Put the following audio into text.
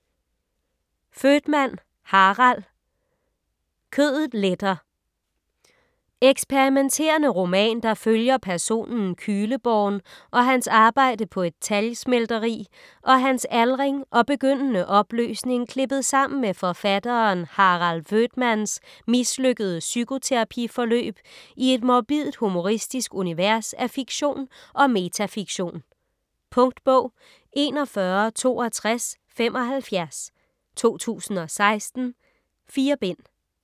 Voetmann, Harald: Kødet letter Eksperimenterende roman, der følger personen Kühleborn og hans arbejde på et talgsmelteri og hans aldring og begyndende opløsning klippet sammen med forfatteren Harald Voetmanns mislykkede psykoterapi-forløb i et morbidt-humoristisk univers af fiktion og metafiktion. Punktbog 416275 2016. 4 bind.